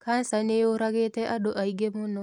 Kanca nĩyũragĩte andũ aingĩ mũno.